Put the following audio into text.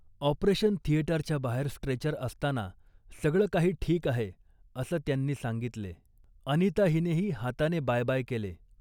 Operation थिएटरच्या बाहेर stretcher असताना 'सगळं काही ठीक आहे' असं त्यांनी सांगितले. अनिता हिनेही हाताने बाय बाय केले